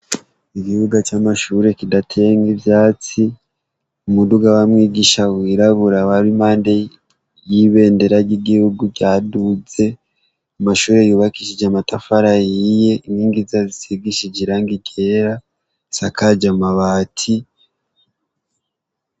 Igibuga c'amashuri kidatenga ivyatsi umuduga wamwe igisha wirabura awari imande yibendera ry'igihugu ryaduze amashuri yubakishije matafara yiye intingizazisigishije iranga igera sa kaja mabati.